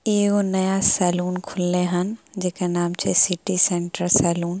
एगो नया सैलून खुलले हन जेकर नाम छै सिटी सेंटर सैलून ---